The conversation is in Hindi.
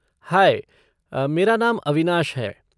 हाई, मेरा नाम अविनाश है।